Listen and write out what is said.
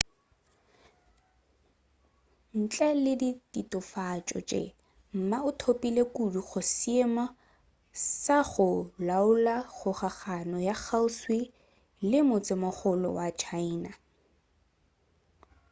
ntle le ditatofatšo tše ma o thopile kudu go seemo sa go laola kgokagano ya kgauswi le motsemogolo wa china